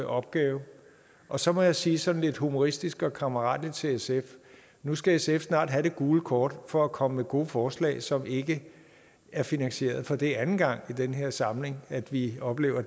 opgave og så må jeg sige sådan lidt humoristisk og kammeratligt til sf nu skal sf snart have det gule kort for at komme med gode forslag som ikke er finansieret for det er anden gang i den her samling at vi oplever